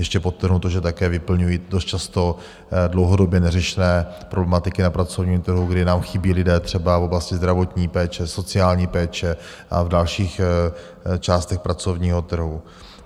Ještě podtrhnu to, že také vyplňují dost často dlouhodobě neřešené problematiky na pracovním trhu, kdy nám chybí lidé, třeba v oblasti zdravotní péče, sociální péče a v dalších částech pracovního trhu.